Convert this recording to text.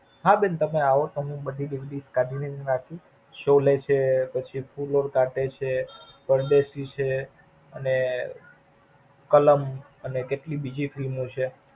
હા, બેન તમે એવો હું બધી જ DVD કાઢી ને રાખું, શોલે છે, પછી ફૂલ ઓર કાંટે છે, પરદેશી છે, અને કલંક અને કૈક બીજી એક Film છે.